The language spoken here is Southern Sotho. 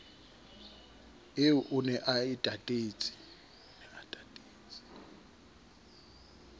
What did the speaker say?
eo o ne a tatetse